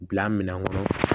Bila minɛn kɔnɔ